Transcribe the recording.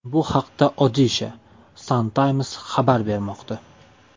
Bu haqda Odisha Sun Times xabar bermoqda .